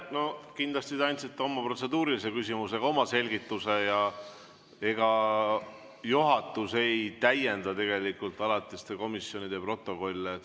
No kindlasti te andsite protseduurilise küsimusega oma selgituse ja ega juhatus ei täienda tegelikult alatiste komisjonide protokolle.